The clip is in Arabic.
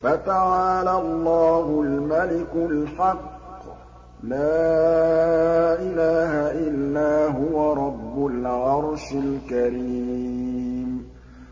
فَتَعَالَى اللَّهُ الْمَلِكُ الْحَقُّ ۖ لَا إِلَٰهَ إِلَّا هُوَ رَبُّ الْعَرْشِ الْكَرِيمِ